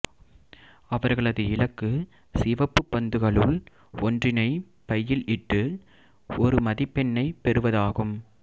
அவர்களது இலக்கு சிவப்புப் பந்துகளுள் ஒன்றினைப் பையில் இட்டு ஒரு மதிப்பெண்ணைப் பெறுவதாகும்